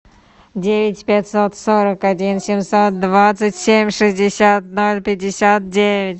девять пятьсот сорок один семьсот двадцать семь шестьдесят ноль пятьдесят девять